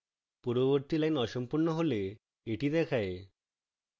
পূর্ববর্তী line অসম্পূর্ণ হলে এটি দেখায়